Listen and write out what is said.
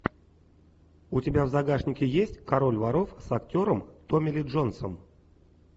у тебя в загашнике есть король воров с актером томми ли джонсом